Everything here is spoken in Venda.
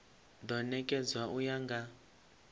do nekedzwa u ya nga